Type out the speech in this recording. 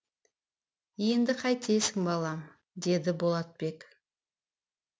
енді қайтесің балам деді болатбек